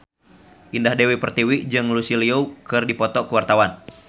Indah Dewi Pertiwi jeung Lucy Liu keur dipoto ku wartawan